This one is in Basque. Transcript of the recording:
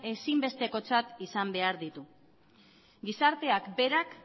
ezin bestekotzat izan behar ditu gizarteak berak